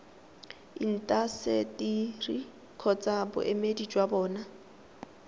intaseteri kgotsa boemedi jwa bona